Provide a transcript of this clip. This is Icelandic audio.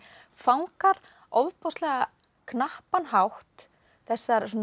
fangar á ofboðslega knappan hátt þessar